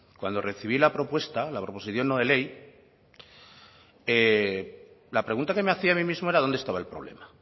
cuando recibí la propuesta la proposición no de ley la pregunta que me hacía a mí mismo era dónde estaba el problema